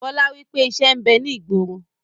Bọlá wípé ìṣẹ́ ń bẹ ní ìgboro